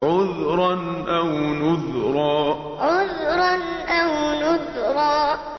عُذْرًا أَوْ نُذْرًا عُذْرًا أَوْ نُذْرًا